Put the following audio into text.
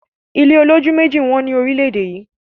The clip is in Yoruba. ilé olójú mẹ́ẹ̀ji wón lórílèèdè yí